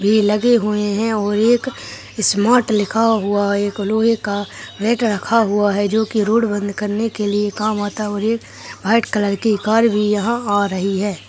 भी लगे हुए हैं और एक स्मार्ट लिखा हुआ है एक लोहै का गेट रखा हुआ है जो की रोड बंद करने के लिए काम आता है और एक व्हाइट कलर की कार भी यहां आ रही है।